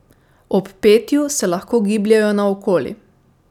Ob petju se lahko gibljejo naokoli.